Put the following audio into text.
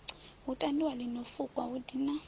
tandwi ḽino fukwa hu dina